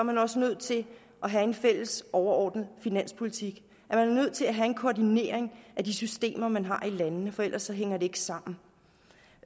man også nødt til at have en fælles overordnet finanspolitik er nødt til at have en koordinering af de systemer man har i landene for ellers hænger det ikke sammen